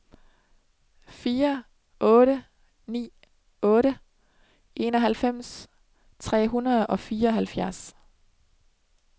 fire otte ni otte enoghalvfems tre hundrede og fireoghalvfjerds